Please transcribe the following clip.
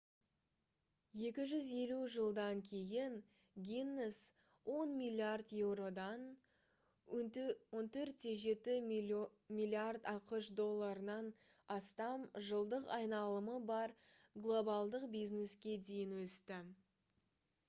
250 жылдан кейін гиннес 10 миллиард еуродан 14,7 миллиард ақш долларынан астам жылдық айналымы бар глобалдық бизнеске дейін өсті